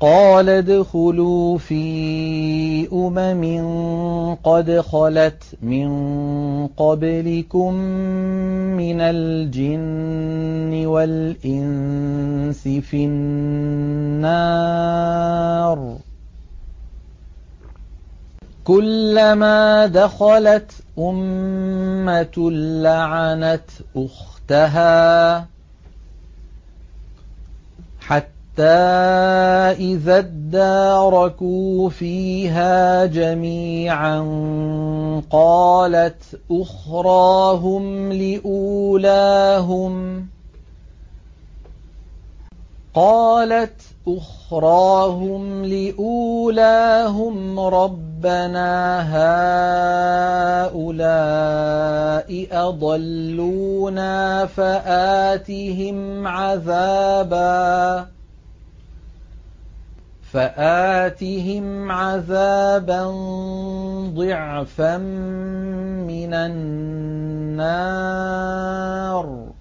قَالَ ادْخُلُوا فِي أُمَمٍ قَدْ خَلَتْ مِن قَبْلِكُم مِّنَ الْجِنِّ وَالْإِنسِ فِي النَّارِ ۖ كُلَّمَا دَخَلَتْ أُمَّةٌ لَّعَنَتْ أُخْتَهَا ۖ حَتَّىٰ إِذَا ادَّارَكُوا فِيهَا جَمِيعًا قَالَتْ أُخْرَاهُمْ لِأُولَاهُمْ رَبَّنَا هَٰؤُلَاءِ أَضَلُّونَا فَآتِهِمْ عَذَابًا ضِعْفًا مِّنَ النَّارِ ۖ